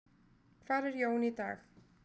Hvar er Jón í dag?